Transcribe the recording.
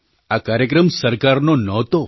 આ કાર્યક્રમ સરકારનો નહોતો